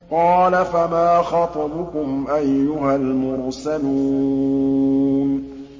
قَالَ فَمَا خَطْبُكُمْ أَيُّهَا الْمُرْسَلُونَ